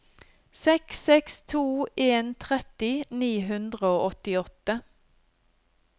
seks seks to en tretti ni hundre og åttiåtte